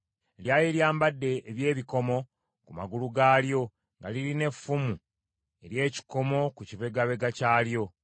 Lyali lyambadde eby’ebikomo ku magulu gaalyo, nga lirina effumu ery’ekikomo ku kibegabega kyalyo.